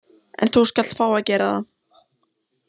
En þú skalt fá að gera það.